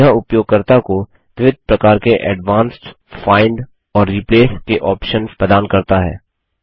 यह उपयोगकर्ता को विविध प्रकार के एडवांस्ड फाइंड खोज और रिप्लेस के ऑप्शन्स प्रदान करता है